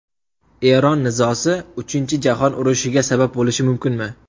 Eron nizosi Uchinchi jahon urushiga sabab bo‘lishi mumkinmi?